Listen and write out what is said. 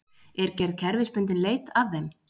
Er gerð kerfisbundinn leit að þeim